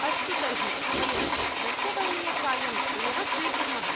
अस्तु तर्हि, वयं रक्तवर्णीयचायम् एव स्वीकुर्मः।